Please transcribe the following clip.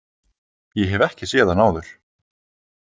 Ég hef ekki séð hana áður.